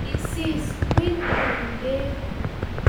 Kisis kwil kou bek